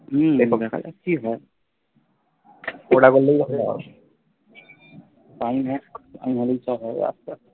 হম এরপর দেখা যাক কি হয়